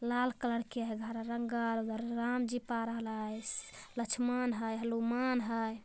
लाल कलर के हैं घर। रंग उधर राम जी पारल है श लक्ष्मण हैं हनुमान हैं ।